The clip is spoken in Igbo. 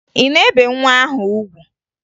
Ị na-ebe nwa ahụ ugwu?